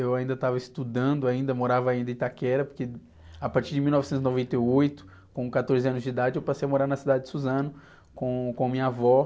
Eu ainda estava estudando, ainda, morava ainda em Itaquera, porque a partir de mil novecentos e noventa e oito, com quatorze anos de idade, eu passei a morar na cidade de Suzano com, com minha avó.